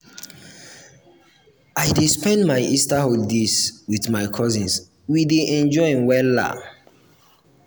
i dey spend my easter holidays wit my cousins we dey enjoy wella.